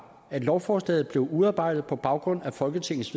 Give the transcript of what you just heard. at lovforslaget blev udarbejdet på baggrund af folketingets